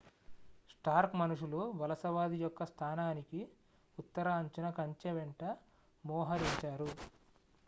Stark మనుషులు వలసవాది యొక్క స్థానానికి ఉత్తర అంచున కంచె వెంట మోహరించారు